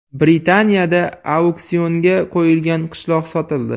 Britaniyada auksionga qo‘yilgan qishloq sotildi.